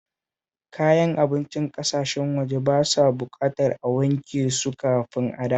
Kayan abincin ƙasashen waje ba sa buƙatar a wanke su kafin a dafa